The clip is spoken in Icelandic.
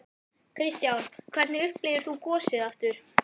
Kristján: Hvernig upplifðir þú gosið sjálfur?